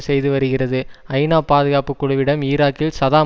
செய்து வருகிறது ஐநா பாதுகாப்பு குழுவிடம் ஈராக்கில் சதாம்